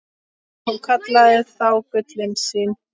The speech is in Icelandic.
Hún kallaði þá gullin sín.